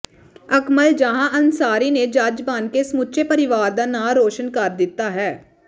ਅਕਮਲ ਜਹਾਂ ਅਨਸਾਰੀ ਨੇ ਜੱਜ ਬਣ ਕੇ ਸਮੁੱਚੇ ਪਰਿਵਾਰ ਦਾ ਨਾਂਅ ਰੌਸ਼ਨ ਕਰ ਦਿੱਤਾ ਹੈ